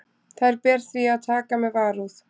Þær ber því að taka með varúð.